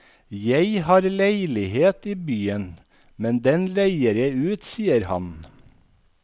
Jeg har leilighet i byen, men den leier jeg ut, sier han.